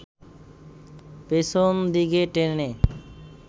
পেছন দিকে টেনে